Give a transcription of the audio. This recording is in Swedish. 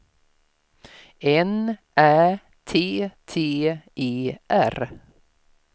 N Ä T T E R